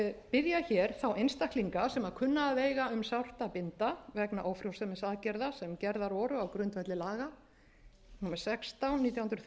biðja þá einstaklinga sem kunna að eiga um sárt að binda vegna ófrjósemisaðgerða sem gerðar voru á grundvelli laga númer sextán nítján